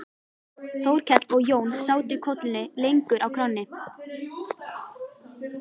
Þórkell og Jón sátu kollunni lengur á kránni.